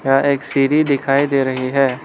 यह एक सिरी दिखाई दे रही है।